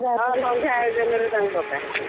ହଁ ସନ୍ଧ୍ୟା ଆୟୋଜନରେ ତାଙ୍କୁ ଡକାହେଇଥିଲା।